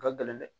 U ka gɛlɛn dɛ